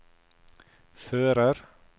fører